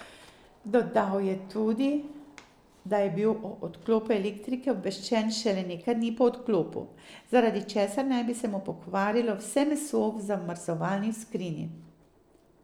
Dodal je tudi, da je bil o odklopu elektrike obveščen šele nekaj dni po odklopu, zaradi česar naj bi se mu pokvarilo vse meso v zamrzovalni skrinji.